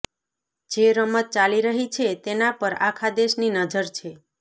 જે રમત ચાલી રહી છે તેના પર આખા દેશની નજર છે